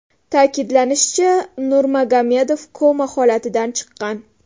Ta’kidlanishicha, Nurmagomedov koma holatidan chiqqan.